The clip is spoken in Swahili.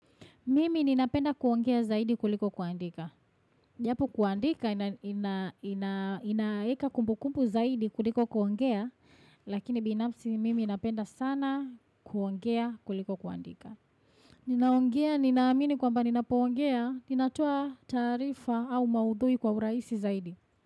Mimi ninapenda kuongea zaidi kuliko kuandika. Japo kuandika inaeka kumbukumbu zaidi kuliko kuongea. Lakini binapsi mimi inapenda sana kuongea kuliko kuandika. Ninaongea ninamini kwamba ninapongea. Ninatua tarifa au maudhui kwa uraisi zaidi.